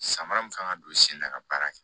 Samara min kan ka don sen na ka baara kɛ